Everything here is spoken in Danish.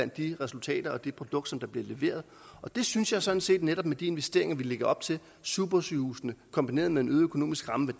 de resultater og det produkt der bliver leveret det synes jeg sådan set netop med de investeringer vi lægger op til supersygehusene kombineret med en øget økonomisk ramme